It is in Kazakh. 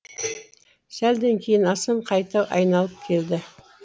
сәлден кейін асан қайта айналып келді